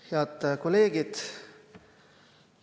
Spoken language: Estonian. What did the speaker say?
Head kolleegid!